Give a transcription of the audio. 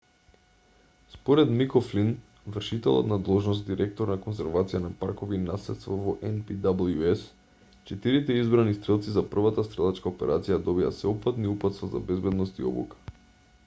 според мик о'флин вршителот на должност директор на конзервација на паркови и наследство во npws четирите избрани стрелци за првата стрелачка операција добија сеопфатни упатства за безбедност и обука